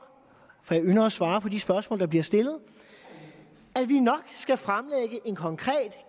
jeg ynder at svare på de spørgsmål der bliver stillet at vi nok skal fremlægge en konkret